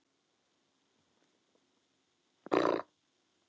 Svo má áfram halda.